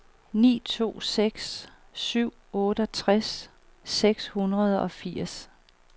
ni to seks syv otteogtres seks hundrede og firs